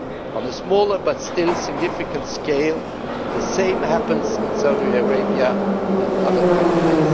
On a smaller but still significant scale, the same happens in Saudi Arabia and other countries.